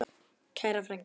Kæra frænka.